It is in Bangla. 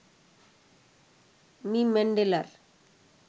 মি ম্যান্ডেলার